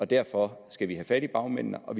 derfor skal vi have fat i bagmændene og